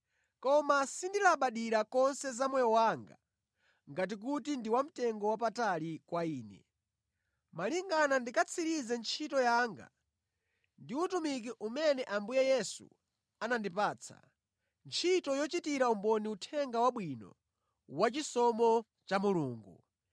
Koma sindilabadira konse za moyo wanga ngati kuti ndi wa mtengo wapatali kwa ine, malingana ndikatsirize ntchito yanga ndi utumiki umene Ambuye Yesu anandipatsa, ntchito yochitira umboni Uthenga Wabwino wachisomo cha Mulungu.